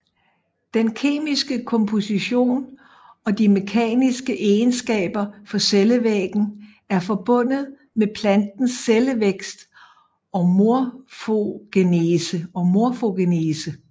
Den kemiske komposition og de mekaniske egenskaber for cellevæggen er forbundet med plantens cellevækst og morfogenese